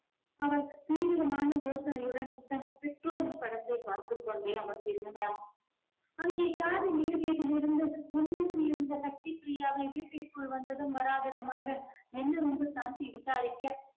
அவள் தீவிரமான யோசனையுடன் தன் பெற்றோரின் படத்தை பார்த்துக் கொண்டே அமர்ந்திருந்தான். அங்கே car ரின் இருந்து உள்ளே இருந்த சக்தி பிரியாவை வீட்டிற்குள் வந்ததும் வராததுமாக என்னவென்று சாந்தி விசாரிக்க